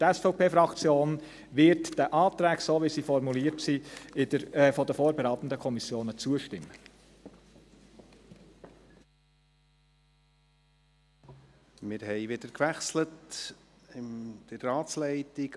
Die SVP-Fraktion wird den Anträgen, so wie sie von den vorberatenden Kommissionen formuliert sind, zustimmen.